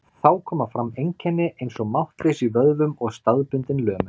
Þá koma fram einkenni eins og máttleysi í vöðvum og staðbundin lömun.